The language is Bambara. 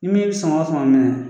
Ni min ye sama fama minɛ